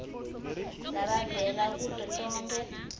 labavela kuto tonkhe